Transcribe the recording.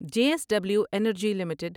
J S W Energy limited